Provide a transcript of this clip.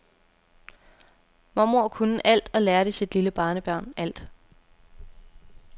Mormor kunne alt og lærte sit lille barnebarn alt.